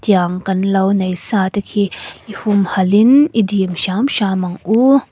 tiang kan lo nei sa te khi i humhalhin i dîm hrâm hrâm ang u.